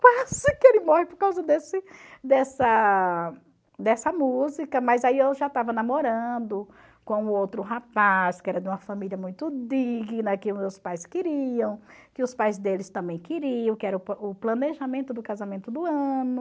Quase que ele morre por causa desse dessa dessa música, mas aí eu já estava namorando com outro rapaz, que era de uma família muito digna, que meus pais queriam, que os pais deles também queriam, que era o o planejamento do casamento do ano.